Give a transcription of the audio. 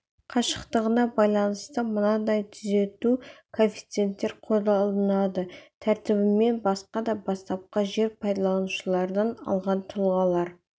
қашықтығына байланысты мынадай түзету коэффициенттер қолданылады тәртібімен басқа да бастапқы жер пайдаланушылардан алған тұлғалар